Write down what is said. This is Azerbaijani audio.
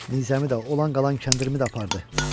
Nizəmi də olan-qalan kəndirimi də apardı.